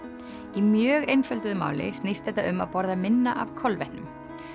í mjög einfölduðu máli snýst þetta um að borða minna af kolvetnum